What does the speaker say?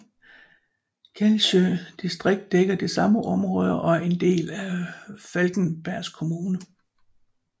Kællsjø distrikt dækker det samme område og er en del af Falkenbergs kommun